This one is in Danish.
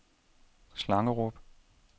Slangerup